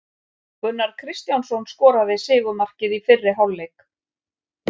Gunnar Kristjánsson skoraði sigurmarkið í fyrri hálfleik.